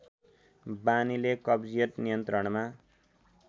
बानीले कब्जियत नियन्त्रणमा